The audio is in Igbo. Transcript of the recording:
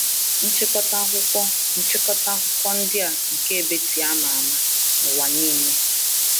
Nchịkọta akwụkwọ Nchịkọta akwụkwọ ndị a nke Beatty ama ama n'ụwa niile.